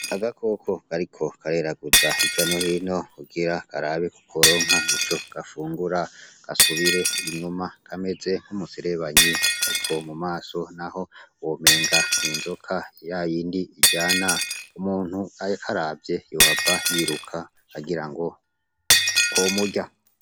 Agakoko gariko gareraguza ijyano hino kugira arabi ku koronka ico gafungura gasubire inyuma kameze nk'umuserebanyi, ariko mu maso na ho womenga n'inzoka iya yindi iryana umuntu ayekaravye yuhava yiruka agira ngo komurya.